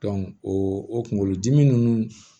o o kunkolodimi ninnu